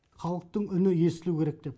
халықтың үні естілу керек деп